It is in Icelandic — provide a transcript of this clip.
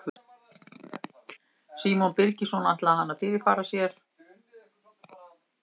Símon Birgisson: Ætlaði hann að fyrirfara sér?